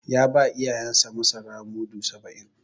Ya ba iyayensa masara mudu saba'in.